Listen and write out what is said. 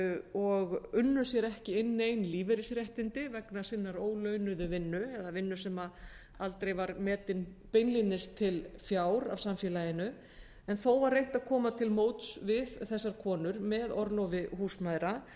og unnu sér ekki inn nein lífeyrisréttindi vegna sinnar ólaunuðu vinnu eða vinnu sem aldrei var metin beinlínis til fjár af samfélaginu en þó var reynt að koma til móts við þessar konur með orlofi húsmæðra